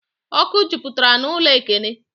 Ọkụ jupụtara n'ụlọ Ekene